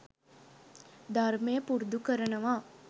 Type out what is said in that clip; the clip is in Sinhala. ධර්මය පුරුදු කරනවා.